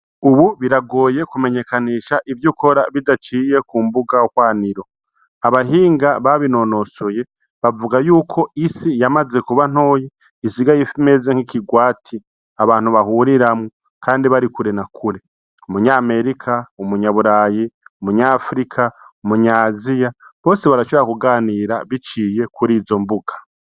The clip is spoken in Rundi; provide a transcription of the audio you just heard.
Ubu biragoye kumenyekanisha ivy'ukora bidaciye k'umbuga hwaniro , abahinga babinonosoye bavuga yuko isi yamaze kuba ntoya isigay'imeze nk'ikigwati abantu bahuriramwo kandi bari kure na kure . Umunyamerika , umunyaburayi, umunyafrika, umunyasiya bose barashobora kuganira biciye kur'izo mbuga.